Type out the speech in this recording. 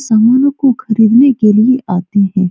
समानो को खरीदने के लिए आते है।